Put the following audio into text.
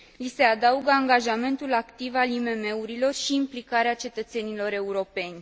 Li se adaugă angajamentul activ al IMM urilor și implicarea cetățenilor europeni.